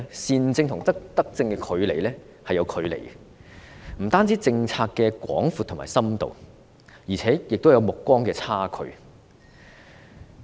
善政與德政有距離，不單在於政策的廣度和深度，亦有目光的差距。